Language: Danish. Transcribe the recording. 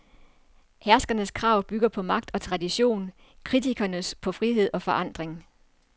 Herskernes krav bygger på magt og tradition, kritikernes på frihed og forandring.